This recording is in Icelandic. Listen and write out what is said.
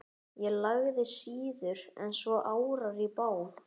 Ég lagði síður en svo árar í bát.